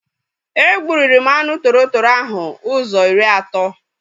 E gburi m anụ tọrọ tọrọ ahụ ụzọ iri ato